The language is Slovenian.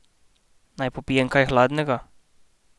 Naj popijem kaj hladnega?